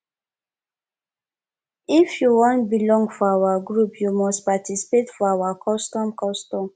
if you wan belong for our group you must participate for our custom custom